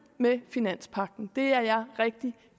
med finanspakken det er jeg rigtig